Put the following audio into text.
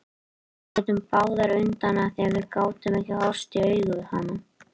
Við litum báðar undan af því að við gátum ekki horfst í augu við hana.